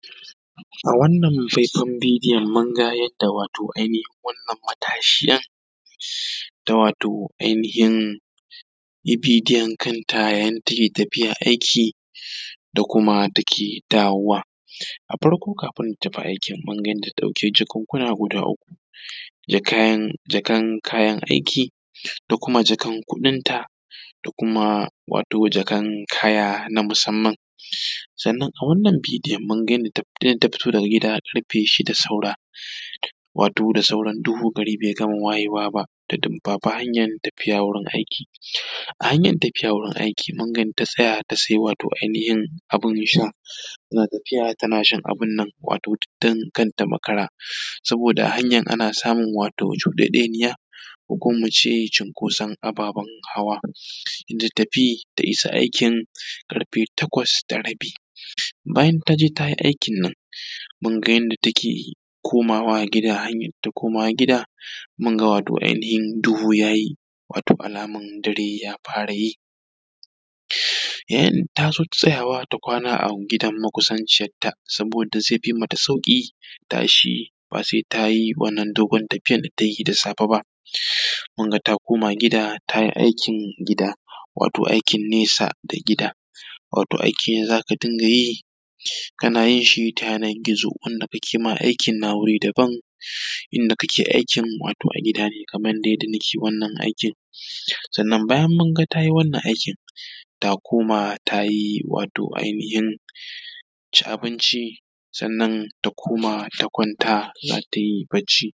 A wannan faifan bidiyon mun ga yanda wato ainihin wannan matashiya da wato ainihin bidiyon kanta yayin da take tafiya aiki da kuma yadda take dawowa, a farko kafin ta tafi aikin mun ga yadda ta ɗauki jakunkuna guda uku, jakan kayan aiki da kuma jakan kuɗin ta da kuma wato jakan kaya na musamman. Sannan a wannan bidiyon mun ga yanda ta fito daga gida ƙarfe shida saura wato da sauran duhu gari bai gama wayewa ba, ta dumfafa hanyan tafiya wurin aiki, a hanya tafiya wurin aiki mun ga yanda ta tsaya ta sai wato ainihin abin sha tana tafiya tana shan abun nan wato duk don kar ta makara. Saboda hanyan ana samun cudedeniya ko kuma mu ce cinkoson ababen hawa, ta tafi ta isa aikin karfe Takwas da rabi, bayan taje ta yi aikin nan mun ga yanda take komawa gida mun ga wato ainihin duhu ya yi wato alaman dare ya fara yi, yayin da ta zo tsayawa ta kwana a gidan makusanciyarta. Saboda zai fi mata sauƙin tashi ba sai tayi wannan dogon tafiyan da ta yi da safe ba, kun ga ta koma gida ta yi aikin gida wato aikin nesa da gida, wato aiki za ta dinga yi tana yin shi taya nan gizo wanda ake ma aikin yana wuri daban, inda kake aiki wato a gida ne kaman yanda nake wannan aikin. Sannan bayan mun ga ta yi wannan aikin ta koma ta yi wato ainihin ci abinci, sannan ta koma ta kwanta ta yi barci.